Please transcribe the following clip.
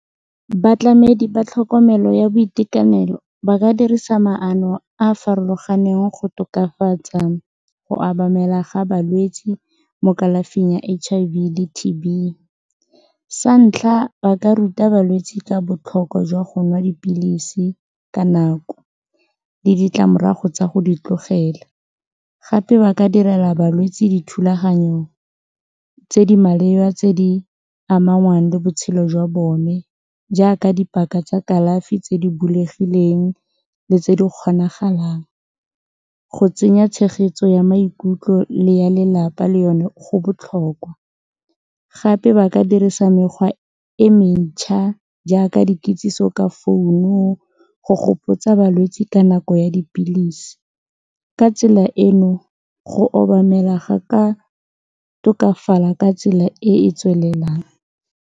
Batlamedi ba tlhokomelo ya boitekanelo ba ka dirisa maano a a farologaneng go tokafatsa go obamela ga balwetsi mo kalafing ya H_I_V le T_B, sa ntlha ba ka ruta balwetsi ka botlhokwa jwa go nwa dipilisi ka nako le ditlamorago tsa go di tlogela gape ba ka direla balwetsi dithulaganyo tse di maleba tse di amanang le botshelo jwa bone jaaka dipaka tsa kalafi tse di bulegileng le tse di kgonagalang, go tsenya tshegetso ya maikutlo le ya lelapa le yone go botlhokwa gape ba ka dirisa mekgwa e mentšha jaaka dikitsiso ka founu go gopotsa balwetsi ka nako ya dipilisi ka tsela eno go obamela ga ka tokafala ka tsela e e tswelelang.